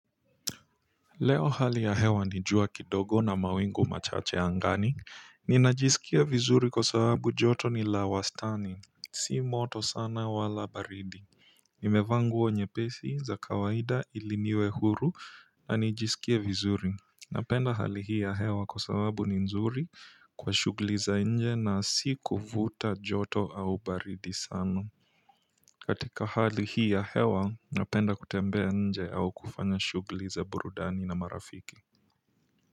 Leo hali ya hewa ni jua kidogo na mawingu machache angani. Ninajisikia vizuri kwa sababu joto ni la wastani si moto sana wala baridi nimevaa nguo nyepesi za kawaida ili niwe huru na nijisikie vizuri napenda hali hii ya hewa kwa sababu ni nzuri kwa shughuli za nje na si kuvuta joto au baridi sana katika hali hii ya hewa napenda kutembea nje au kufanya shughuli za burudani na marafiki.